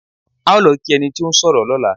À ó lọ kí ẹni tí ó ń sọ̀rọ̀ lọ́la.